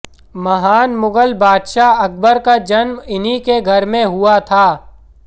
महान मुगल बादशाह अकबर का जन्म इन्हीं के घर हुआ था